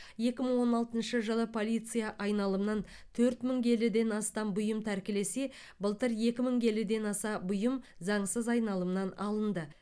екі мың он алтыншы жылы полиция айналымнан төрт мың келіден астам бұйым тәркілесе былтыр екі мың келіден аса бұйым заңсыз айналымнан алынды